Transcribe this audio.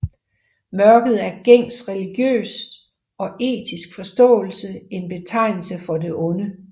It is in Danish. Mørket er i gængs religiøs og etisk forståelse en betegnelse for det onde